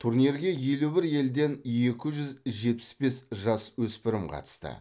турнирге елу бір елден екі жүз жетпіс бес жасөспірім қатысты